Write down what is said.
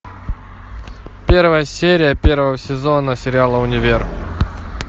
первая серия первого сезона сериала универ